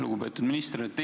Lugupeetud minister!